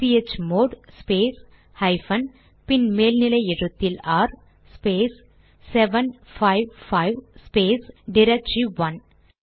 chmod space hyphen பின் மேல் நிலை எழுத்தில் ஆர் ஸ்பேஸ் 755 ஸ்பேஸ் டிரக்டரி1